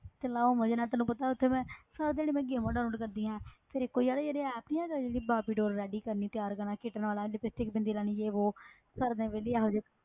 ਤੇ ਮੈਂ ਉਹ ਮਜ਼ੇ ਨਾਲ ਤੈਨੂੰ ਪਤਾ ਉਹ ਤੇ ਮੈਂ ਸਾਰਾ ਦਿਨ ਮੈਂ games download ਕਰਦੀ ਹਾਂ ਫਿਰ ਇੱਕ ਉਹ ਯਾਰ ਜਿਹੜੀ app ਨੀ ਹੁੰਦੀ ਜਿਹੜੀ ਬਾਰਬੀ doll ready ਕਰਨੀ ਤਿਆਰ ਕਰਨਾ kit ਨਾਲ ਇਉਂ lipstick ਬਿੰਦੀ ਲਾਉਣੀ ਜੇ ਵੋਹ ਸਾਰਾ ਦਿਨ ਵਿਹਲੀ ਇਹੋ ਜਿਹੀ